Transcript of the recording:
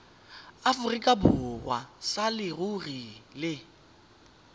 aforika borwa sa leruri le